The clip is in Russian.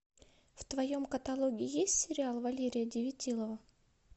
в твоем каталоге есть сериал валерия девятилова